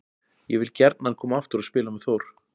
Ég vil gjarnan koma aftur og spila með Þór.